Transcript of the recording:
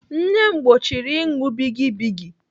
Nne m gbochiri ịṅụ bigi bigi.